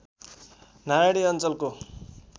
नारायणी अञ्चलको